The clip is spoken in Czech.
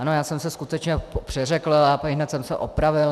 Ano, já jsem se skutečně přeřekl a ihned jsem se opravil.